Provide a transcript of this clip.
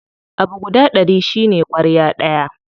Abu guda ɗari shine ƙwarya ɗaya.